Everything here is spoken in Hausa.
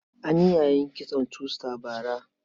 An yi yayin kitson two star bara.